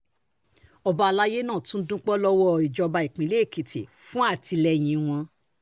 ọba alayé náà um tún dúpẹ́ lọ́wọ́ ìjọba ìpínlẹ̀ èkìtì fún um àtìlẹ́yìn rẹ̀